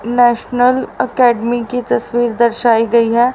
National academy की तस्वीर दर्शायी गई है।